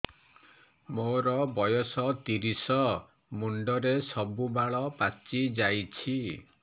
ମୋର ବୟସ ତିରିଶ ମୁଣ୍ଡରେ ସବୁ ବାଳ ପାଚିଯାଇଛି